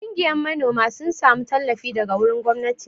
Kungiya manoma sun samu tallafi daga wurin gwamnati.